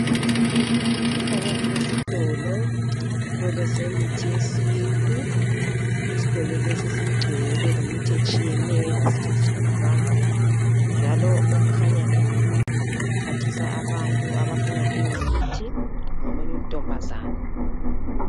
Kukhanya kulesitolo. Isitolo semithi yesintu. Isitolo lesi sigcwele lemithi etshiyeneyo engasetshenziswa ngabantu. Njalo okhanya ephathisa abantu abafuna leyomithi ngomuny'untombazana.